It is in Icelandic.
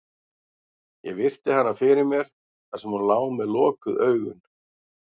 Ég virti hana fyrir mér, þar sem hún lá með lokuð augun.